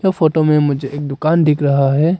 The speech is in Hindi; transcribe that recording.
यह फोटो में मुझे एक दुकान दिख रहा है।